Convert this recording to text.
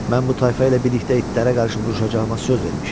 Mən bu tayfa ilə birlikdə itlərə qarşı vuruşacağıma söz vermişəm.